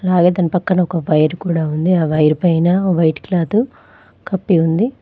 అలాగే దాని పక్కన ఒక వైర్ కూడా ఉంది వైర్ పైన వైట్ క్లాత్ కప్పి ఉంది.